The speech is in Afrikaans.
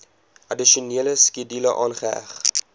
addisionele skedule aangeheg